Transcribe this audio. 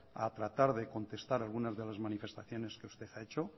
a tratar de contestar algunas de las manifestaciones que usted ha hecho